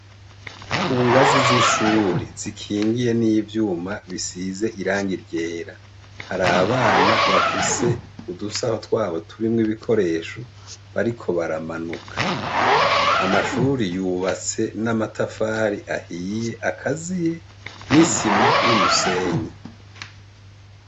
Kugazi z'ishure zikingiye n'ivyuma bisize irangi ryera, har'abana bafise udusaho twabo turimwo ibikoresho bariko baramanuka ,amashure yubatse n'amatafari ahiye akaziye n'isima n'umusenyi.